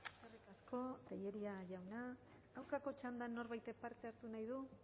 eskerrik asko tellería jauna aurkako txandan norbaitek parte hartu nahi du